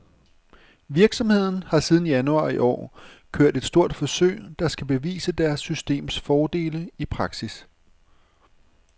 Virksomheden har siden januar i år kørt et stort forsøg, der skal bevise deres systems fordele i praksis.